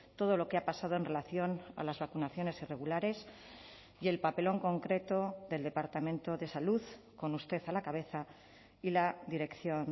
todo lo que ha pasado en relación a las vacunaciones irregulares y el papelón concreto del departamento de salud con usted a la cabeza y la dirección